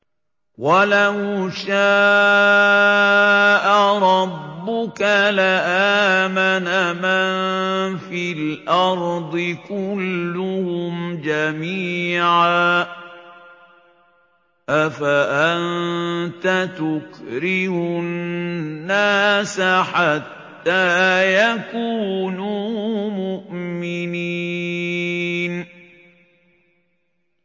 وَلَوْ شَاءَ رَبُّكَ لَآمَنَ مَن فِي الْأَرْضِ كُلُّهُمْ جَمِيعًا ۚ أَفَأَنتَ تُكْرِهُ النَّاسَ حَتَّىٰ يَكُونُوا مُؤْمِنِينَ